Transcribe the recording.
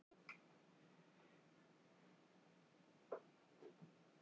Ég er svo veik í bakinu Ísbjörg, segir hún og brosir afsakandi.